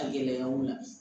A gɛlɛyaw ma